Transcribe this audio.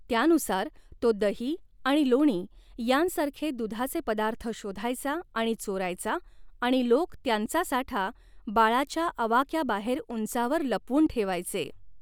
त्यानुसार, तो दही आणि लोणी यांसारखे दुधाचे पदार्थ शोधायचा आणि चोरायचा आणि लोक त्यांचा साठा बाळाच्या आवाक्याबाहेर उंचावर लपवून ठेवायचे.